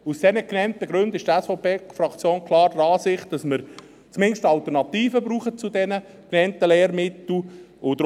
Aus den genannten Gründen ist die SVP-Fraktion klar der Ansicht, dass wir zumindest Alternativen zu den genannten Lehrmitteln brauchen.